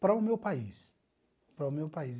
para o meu país, para o meu país.